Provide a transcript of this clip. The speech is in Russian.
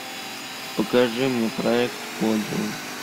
покажи мне проект подиум